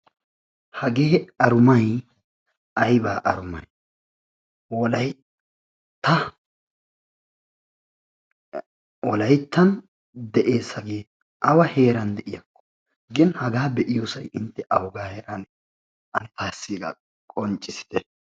Hagee arumayi ayba arumayi wolaytta wolayttan de"es hagee awa heeran de"iyakko gin hagaa be"iyosayi intte awugaa heeraanee ane aassi hegaa qonccissite.